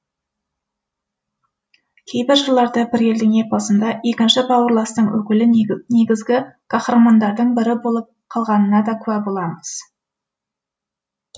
кейбір жырларды бір елдің эпосында екінші бауырластың өкілі негізгі қаһармандардың бірі болып қалғанына де куә боламыз